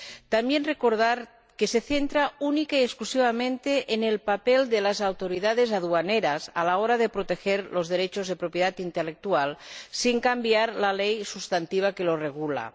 También quiero recordar que se centra única y exclusivamente en el papel de las autoridades aduaneras a la hora de proteger los derechos de propiedad intelectual, sin cambiar la ley sustantiva que lo regula.